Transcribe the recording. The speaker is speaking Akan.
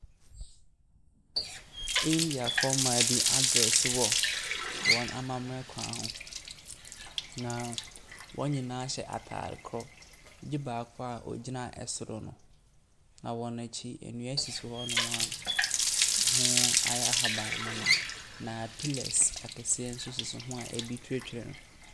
Indiafoɔ mmaa bi adrɛse wɔ wɔn amammerɛ kwan so. Na wɔn nyinaa hyɛ ataade korɔ gye baako a ogyina soro no. Na wɔn akyi, nnua sisi hɔnom a ɛho ayɛ ahabanmono. Na pillars akɛseɛ nso sisi ho a ebi twetwere.